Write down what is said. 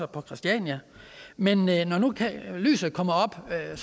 på christiania men når nu lyset kommer op er